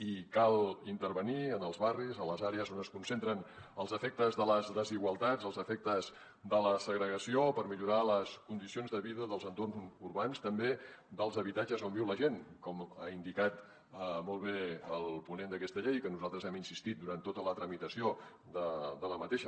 i cal intervenir en els barris a les àrees on es concentren els efectes de les desigualtats els efectes de la segregació per millorar les condicions de vida dels entorns urbans també dels habitatges on viu la gent com ha indicat molt bé el ponent d’aquesta llei que nosaltres hi hem insistit durant tota la tramitació d’aquesta